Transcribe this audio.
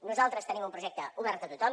nosaltres tenim un projecte obert a tothom